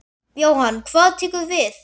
Jóhann: Hvað tekur við?